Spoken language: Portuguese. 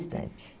Bastante.